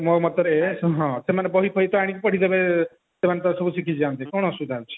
ମୋ ମତରେ ସେମାନେ ହଁ ସେମାନେ ବହି ଫହି ତ ଆଣିକି ପଢିଦେବେ ସେମାନେ ତ ସବୁ ଶିଖିଯିବେ ଏମତି କଣ ଅସୁବିଧା ଅଛି